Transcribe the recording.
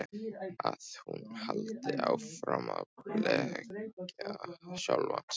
Að hún haldi áfram að blekkja sjálfa sig.